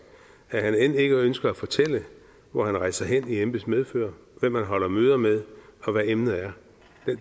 at han end ikke ønsker at fortælle hvor han rejser hen i embeds medfør hvem han holder møder med og hvad emnet er